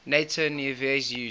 nato navies use